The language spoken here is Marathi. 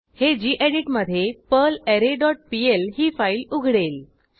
हे गेडीत मधे पर्लरे डॉट पीएल ही फाईल उघडेल